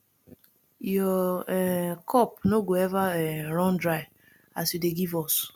your um cup no go eva um run dry as you dey give us